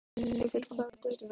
Örlygur, hvar er dótið mitt?